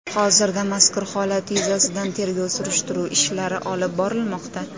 Hozirda mazkur holat yuzasidan tergov-surishtiruv ishlari olib borilmoqda.